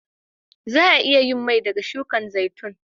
Za'a iya yin mai daga shukin zaitun.